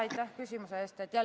Aitäh küsimuse eest!